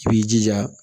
I b'i jija